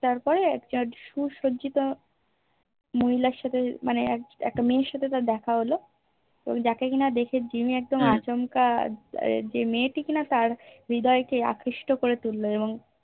তারপরে কত সু সজ্জিত মহিলার সাথে মানে একটা মেয়ের সাহে তার দেখা হলো যা কে কিনা দেহে জিম্মি একদম আচমকা যে মেয়েটি কিনা তার হৃদয় কে আকৃষ্ট করে তুললো এবং